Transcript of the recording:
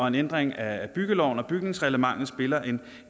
en ændring af byggeloven og bygningsreglementet spiller en